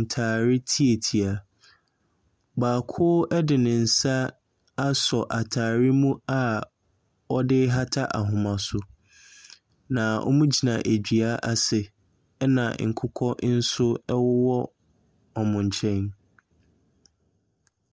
ntaareɛ tiatia. Baako ɛde ne nsa aso ataareɛ mu ɔde rehata ahoma so. Na wɔgyina dua ase, ɛna nkokɔ nso ɛwɔ wɔn nkyɛn.